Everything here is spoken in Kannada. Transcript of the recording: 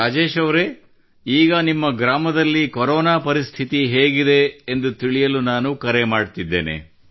ರಾಜೇಶ್ ಅವರೇ ಈಗ ನಿಮ್ಮ ಗ್ರಾಮದಲ್ಲಿ ಕೊರೋನಾ ಪರಿಸ್ಥಿತಿ ಹೇಗಿದೆ ಎಂದು ತಿಳಿಯಲು ನಾನು ಕರೆ ಮಾಡುತ್ತಿದ್ದೇನೆ